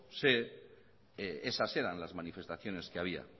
sé esas eran las manifestaciones que había